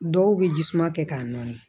Dɔw bɛ jisuman kɛ k'a nɔɔni